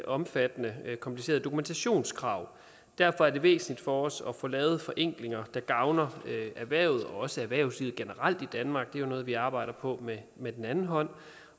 omfattende og komplicerede dokumentationskrav derfor er det væsentligt for os at få lavet forenklinger der gavner erhvervet også erhvervslivet generelt i danmark jo noget vi arbejder på med med den anden hånd